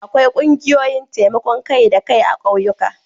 Akwai ƙungiyoyin taimakon kai-da-kai a ƙauyuka.